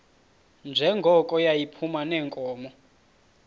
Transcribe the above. njengoko yayiphuma neenkomo